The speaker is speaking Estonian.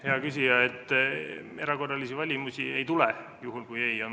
Hea küsija, erakorralisi valimisi ei tule, juhul kui vastus on ei.